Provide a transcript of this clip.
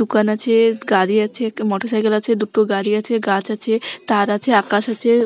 দোকান আছে-এ গাড়ি আছে একটা মটর সাইকেল আছে দুটো গাড়ি আছে গাছ আছে তার আছে আকাশ আছে ।